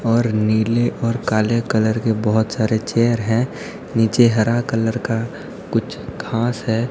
और नीले और काले कलर के बहुत सारे चेयर हैं नीचे हरा कलर का कुछ घास हैं।